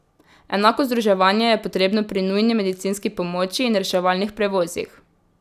Enako združevanje je potrebno pri nujni medicinski pomoči in reševalnih prevozih.